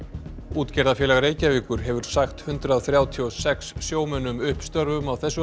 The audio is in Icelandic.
útgerðarfélag Reykjavíkur hefur sagt hundrað þrjátíu og sex sjómönnum upp störfum á þessu